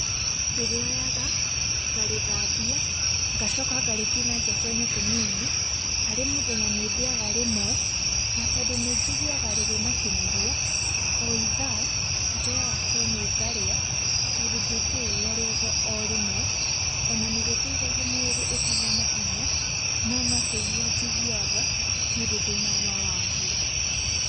Ndĩrĩonyaga ngarĩthambia ngacoka ngarĩtinangia twenyũ tũnini. Harĩ mũthenya nĩ ndĩyaga rĩmwe, na tondũ nĩ njiguaga rĩrĩ na kĩnyiria, o i thaa njonyaga kenyũ ngarĩa tondũ ndingĩrĩrĩa rĩothe o rĩmwe. Ona ni rĩteithagia mwĩrĩ ũkagĩa na hinya, no nĩ kũigua njiguaga, ti ũndũ ndĩ na ũma waguo.